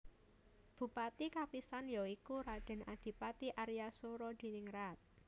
Bupati kapisan ya iku Raden Adipati Arya Soeroadiningrat